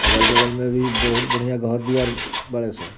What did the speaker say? अगल-बगल में भी बहुत बढ़िया घर दुआर बाड़े सन।